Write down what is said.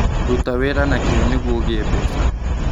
Ruta wĩra na kĩo nĩguo ũgĩe mbeca.